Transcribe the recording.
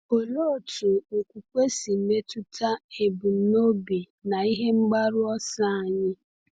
Olee otú okwukwe si metụta ebumnobi na ihe mgbaru ọsọ anyị?